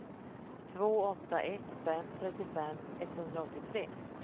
två åtta ett fem trettiofem etthundraåttiotre